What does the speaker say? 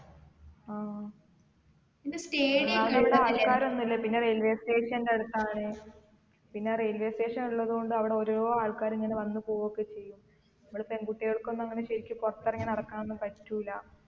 ആ ഒന്നാമത് ഇപ്പൊ ആൾക്കാരൊന്നുല്ല പിന്നെ railway station ന്റെ അടുത്താണ് പിന്നെ railway station ഉള്ളത് കൊണ്ട് അവിടെ ഓരോ ആൾക്കാര് ഇങ്ങനെ വന്ന് പോവൊക്കെ ചെയ്യും നമ്മൾ പെൺകുട്ടികൾക്ക് ഒന്നും അങ്ങനെ ശരിക്ക് പുറത്ത് ഇറങ്ങി നടക്കാനൊന്നും പറ്റൂല